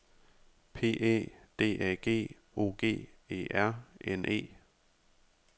P Æ D A G O G E R N E